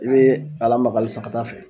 I be lamaga alisa ka t'a fɛ